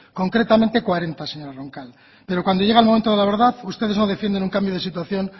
concretamente cuarenta señora roncal pero cuando llega el momento de la verdad ustedes no defienden un cambio de situación